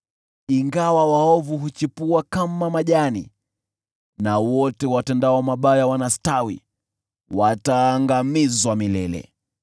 ingawa waovu huchipua kama majani na wote watendao mabaya wanastawi, wataangamizwa milele.